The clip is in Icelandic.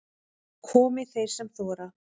Komi þeir sem þora